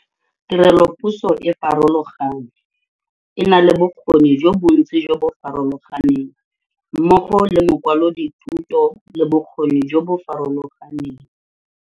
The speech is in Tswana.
Tirelopuso e farologane, e na le bokgoni jo bontsi jo bo farologaneng, mmogo le makwalodithuto le bokgoni jo bo farologaneng.